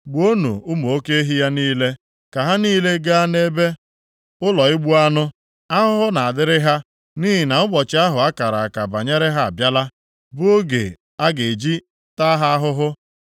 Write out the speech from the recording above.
Gbuonụ ụmụ oke ehi ya niile, ka ha niile gaa nʼebe ụlọ igbu anụ Ahụhụ na-adịrị ha, nʼihi na ụbọchị ahụ a kara aka banyere ha abịala, bụ oge a ga-eji taa ha ahụhụ.